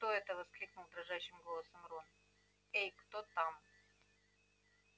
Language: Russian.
кто это воскликнул дрожащим голосом рон эй кто там